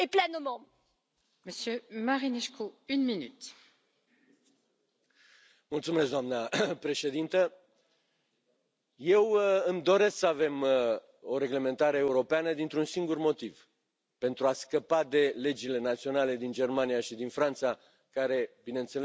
Doamnă președintă, eu îmi doresc să avem o reglementare europeană dintr un singur motiv pentru a scăpa de legile naționale din Germania și din Franța, care bineînțeles că sunt pentru a proteja industria de resort din aceste state.